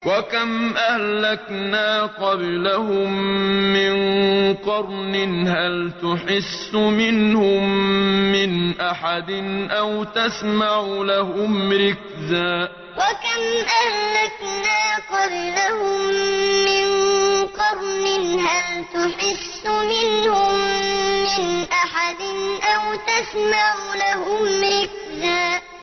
وَكَمْ أَهْلَكْنَا قَبْلَهُم مِّن قَرْنٍ هَلْ تُحِسُّ مِنْهُم مِّنْ أَحَدٍ أَوْ تَسْمَعُ لَهُمْ رِكْزًا وَكَمْ أَهْلَكْنَا قَبْلَهُم مِّن قَرْنٍ هَلْ تُحِسُّ مِنْهُم مِّنْ أَحَدٍ أَوْ تَسْمَعُ لَهُمْ رِكْزًا